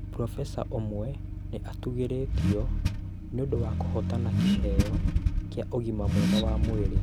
Probesa ũmwe nĩ atũgĩrĩtio nĩ ũndũ wa kũhootana kĩheo kĩa ũgima mwega wa mwĩrĩ